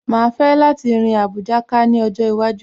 Màá fẹ́ láti rin Àbújá ká ní ọjọ́ iwájú